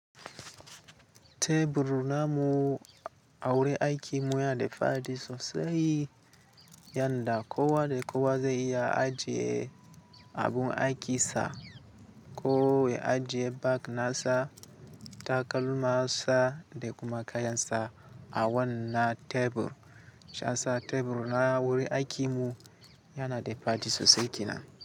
Tebur na mu awurin aikin mu yana da faɗi sosai, yanda kowa da kowa zai iya ajiye abun aikinsa, ko ya ajiye bag nasa, takalman sa da kuma kayansa a wannan tebur. Shi yasa tebur na wurin aikin mu yana da faɗi sosai kennan.